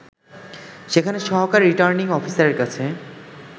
সেখানে সহকারী রির্টানিং অফিসারের কাছে